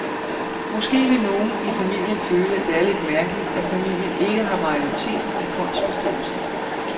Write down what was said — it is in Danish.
Måske vil nogle i familien føle, at det er lidt mærkeligt, at familien ikke har majoriteten i fondsbestyrelsen.